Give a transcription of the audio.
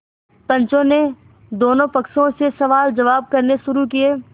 पंचों ने दोनों पक्षों से सवालजवाब करने शुरू किये